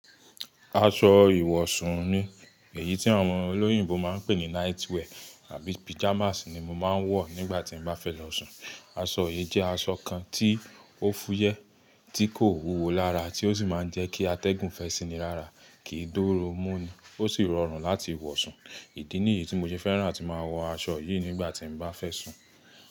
Aṣọ ìwọ̀sún ni, èyí tí àwọn olóyìnbo máa ń pè ní night wear àbí pajamas ni mo máa ń wọ̀ nígbà tí n bá fẹ́ lọ sùn. Aṣọ yìí jẹ́ aṣọ kan tí ó fúyẹ́, tí kò wúwo lára, tí ó sì máa ń jẹ́ kí atẹ́gùn fẹ́ síni lára, kì í doru mú ni, ó sì rọrùn láti wọ̀ sùn. Ìdí nìyí tí mo ṣe fẹ́ràn atí máa wọ aṣọ yìí nígbà tí n bá fẹ́ sùn.